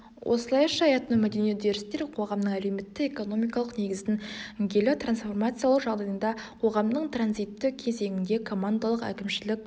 осылайша этномәдени үдерістер қоғамның әлеуметтік экономикалық негізін гейлі трансформациялау жағдайында қоғамның транзитті кезеңінде командалық әкімшілік